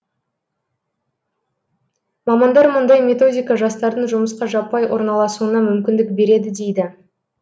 мамандар мұндай методика жастардың жұмысқа жаппай орналасуына мүмкіндік береді дейді